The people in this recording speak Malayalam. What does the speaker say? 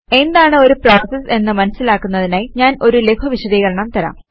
എന്താണ് ഒരു പ്രോസസ് എന്ന് മനസിലാക്കുന്നതിനായി ഞാൻ ഒരു ലഘു വിശദീകരണം തരാം